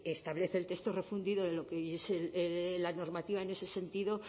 establece el texto refundido de lo que es la normativa en ese sentido